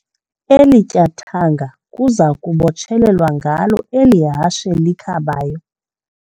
Eli tyathanga kuza kubotshelelwa ngalo eli hashe likhabayo.